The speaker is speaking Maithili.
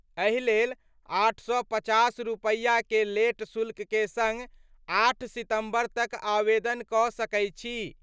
एहि लेल 850 रुपया के लेट शुल्क के संग 8 सितंबर तक आवेदन क' सकय छी।